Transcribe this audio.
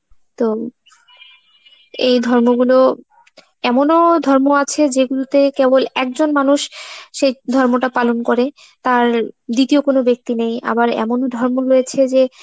তো, এই ধর্মগুলো~ এমনো ধর্ম আছে যেগুলোতে কেবল একজন মানুষ সেই ধর্মটা পালন করে, তার দ্বিতীয় কোনো ব্যক্তি নেই, আবার এমনও ধর্ম রয়েছে যে